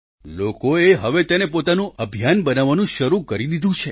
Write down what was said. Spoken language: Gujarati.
લોકોએ હવે તેને પોતાનું અભિયાન બનાવવાનું શરૂ કરી દીધું છે